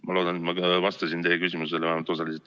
Ma loodan, et ma vastasin teie küsimusele vähemalt osaliselt.